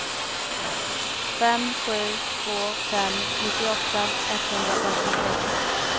fem sju två fem nittioåtta etthundrafemtiosex